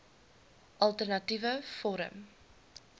alter natiewe forum